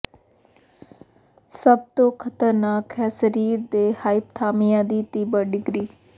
ਸਭ ਤੋਂ ਖ਼ਤਰਨਾਕ ਹੈ ਸਰੀਰ ਦੇ ਹਾਈਪਥਾਮਿਆ ਦੀ ਤੀਬਰ ਡਿਗਰੀ